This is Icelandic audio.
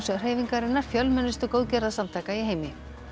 hreyfingarinnar fjölmennustu góðgerðasamtaka í heimi